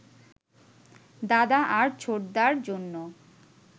দাদা আর ছোটদার জন্য